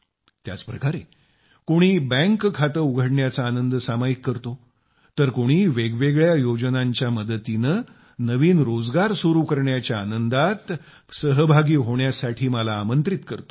त्याच प्रकारे कोणी बँक खाते उघडण्याचा आनंद सामायिक करतो तर कोणी वेगवेगळ्या योजनांच्या मदतीने नवीन रोजगार सुरु करण्याच्या आनंदात मला सहभागी होण्यासाठी आमंत्रित करतो